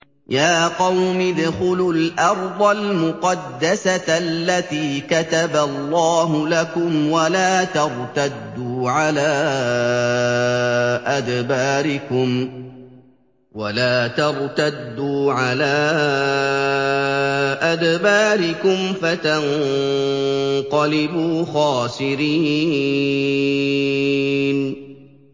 يَا قَوْمِ ادْخُلُوا الْأَرْضَ الْمُقَدَّسَةَ الَّتِي كَتَبَ اللَّهُ لَكُمْ وَلَا تَرْتَدُّوا عَلَىٰ أَدْبَارِكُمْ فَتَنقَلِبُوا خَاسِرِينَ